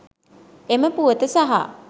එම පුවත සහ